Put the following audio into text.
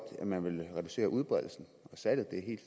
at man vil reducere udbredelsen og salget det